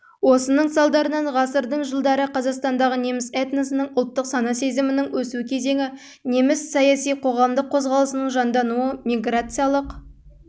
осының салдарынан ғасырдың жылдары қазақстандағы неміс этносының ұлттық сана-сезімінің өсу кезеңі неміс саяси-қоғамдық қозғалысының жандануы миграциялық